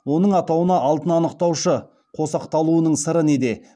оның атауына алтын анықтауышы қосақталуының сыры неде